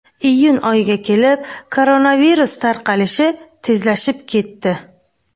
Iyun oyiga kelib koronavirus tarqalishi tezlashib ketdi.